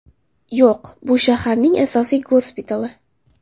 Yo‘q, bu shaharning asosiy gospitali”.